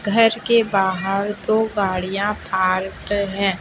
घर के बाहर दो गाड़िया पार्क है।